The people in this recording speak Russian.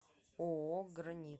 ооо гранит